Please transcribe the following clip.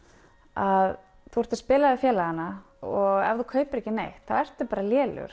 að þú ert að spila við félagana og ef þú kaupir ekki neitt þá ertu bara lélegur